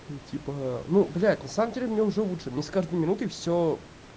ты типа ну блять на самом деле мне уже лучше мне с каждой минутой все